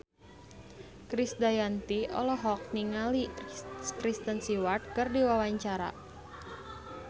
Krisdayanti olohok ningali Kristen Stewart keur diwawancara